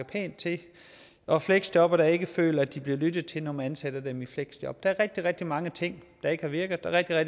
pænt til og fleksjobbere der ikke føler at de bliver lyttet til når man ansætter dem i fleksjob der er rigtig rigtig mange ting der ikke har virket og der er